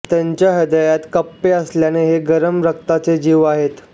त्यांच्या हृदयात कप्पे असल्याने हे गरम रक्ताचे जीव आहेत